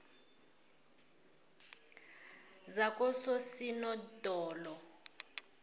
zakososinodolo